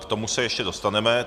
K tomu se ještě dostaneme.